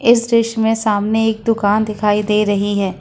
इस दृश्य में सामने एक दुकान दिखाई दे रही है।